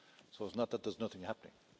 So it's not that there's nothing happening.